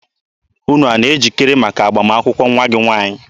Unu na-ejikere maka agbamakwụkwọ nwa gị nwaanyị?